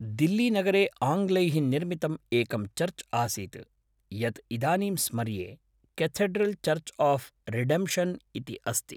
दिल्लीनगरे आङ्ग्लैः निर्मितम् एकं चर्च् आसीत्, यत् इदानीं स्मर्ये, केथेड्रल् चर्च् आफ् रिडेम्प्षन् इति अस्ति।